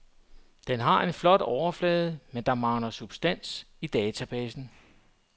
Den har en flot overflade, men der mangler substans i databasen.